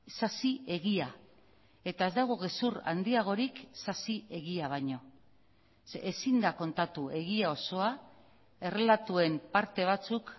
sasi egia eta ez dago gezur handiagorik sasi egia baino ze ezin da kontatu egia osoa errelatuen parte batzuk